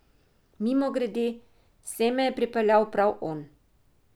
Mimogrede, sem me je pripeljal prav on.